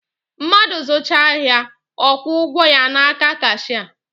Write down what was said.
Madụ zụchaa ahịa ọ kwuo ụgwọ ya n’aka kashịa